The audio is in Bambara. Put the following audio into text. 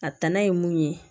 A tana ye mun ye